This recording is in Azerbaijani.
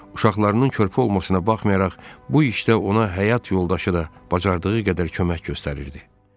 Uşaqlarının körpə olmasına baxmayaraq bu işdə ona həyat yoldaşı da bacardığı qədər kömək göstərirdi.